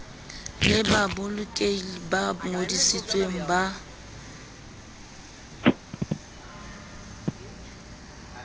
le babokelli ba ngodisitsweng ba